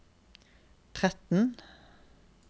tretten